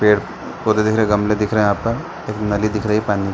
पेड़ पोधे दिख रहे गमले दिख रहे हैं यहाँ पर एक नली दिख रही है पानी --